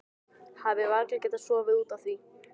Hafi varla getað sofið út af því.